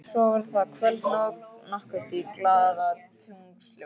Svo var það kvöld nokkurt í glaðatunglsljósi.